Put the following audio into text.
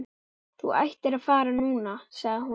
Þú ættir að fara núna, sagði hún.